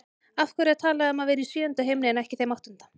Af hverju er talað um að vera í sjöunda himni en ekki þeim áttunda?